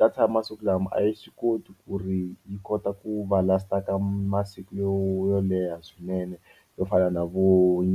data ya masiku lama a yi swi koti ku ri yi kota ku va last-a ka masiku yo yo leha swinene yo fana na vo